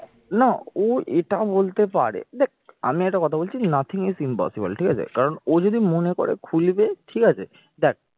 না ওর এটা বলতে পারে দেখ আমি একটা কথা বলছি nothing is impossible ঠিক আছে কারণ ও যদি মনে করে খুলবে ঠিক আছে দেখ